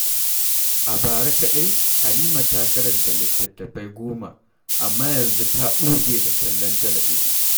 A bara kaɗai, Halima ta karanta littatafai 10, amma yanzu ta ɓuge da kallon talabijin.